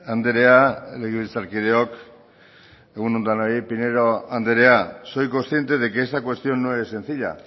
andrea legebiltzar kideok egun on denoi pinedo andrea soy consciente de que esta cuestión no es sencilla